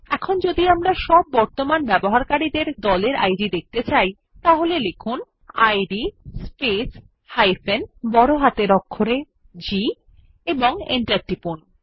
এখন যদি আমরা সব বর্তমান ব্যবহারকারী দের গ্রুপ ইদ দেখতে চাই তাহলে লিখুন ইদ স্পেস G এবং এন্টার টিপুন